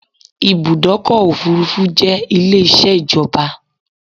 Ibùdọ́kọ̀ òfurufú jẹ́ Ilé isẹ́ ìjọba